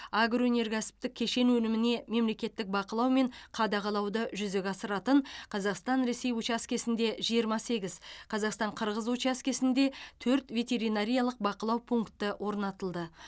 агроөнеркәсіптік кешен өніміне мемлекеттік бақылау мен қадағалауды жүзеге асыратын қазақстан ресей учаскесінде жиырма сегіз қазақстан қырғыз учаскесінде төрт ветеринариялық бақылау пункті орнатылды